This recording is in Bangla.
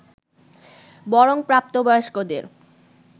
বরং প্রাপ্ত বয়স্কদের